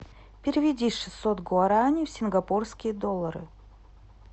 переведи шестьсот гуарани в сингапурские доллары